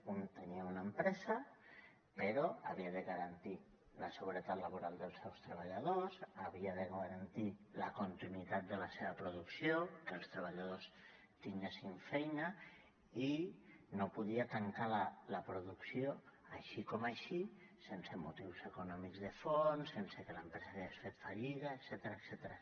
un tenia una empresa però havia de garantir la seguretat laboral dels seus treballadors havia de garantir la continuïtat de la seva producció que els treballadors tinguessin feina i no podia tancar la producció així com així sense motius econòmics de fons sense que l’empresa hagués fet fallida etcètera